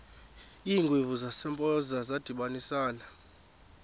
iingwevu zasempoza zadibanisana